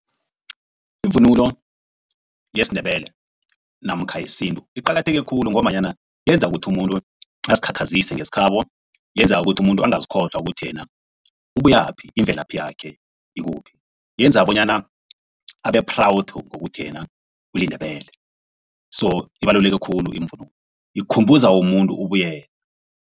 Ivunulo yesiNdebele namkha yesintu iqakatheke khulu ngombanyana yenza ukuthi umuntu azikhakhazise ngesikhabo yenza ukuthi umuntu angazikholwa ukuthi yena ubuyaphi imvelaphi yakhe ikuphi. Yenza bonyana abe-proud ngokuthi yena uliNdebele so ibaluleke khulu iimvunulo ikhumbuza umuntu ubuyena.